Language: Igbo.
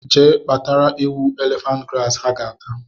Jee kpatara ewu elephant grass ha ga-ata